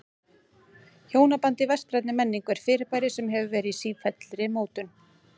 Hjónabandið í vestrænni menningu er fyrirbæri sem hefur verið í sífelldri mótun.